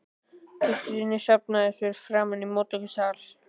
Gestir safnast fyrst saman í móttökusal.